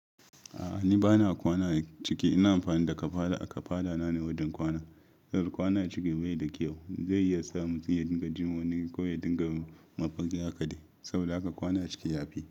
A'a ni bana kwana ciki, ina amfani da kafada. Kafada na ne wajen kwana. Yar kwana ciki bai da kyau, zai iya sa mutum ya dinga jima wani ko ya dinga mafaki hakali saboda haka kwana ciki yafi.